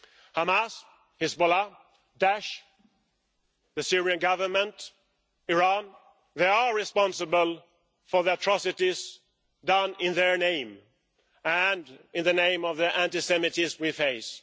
Hamas, Hezbollah, Daesh, the Syrian Government, Iran they are responsible for the atrocities done in their name and in the name of the anti Semitism we face.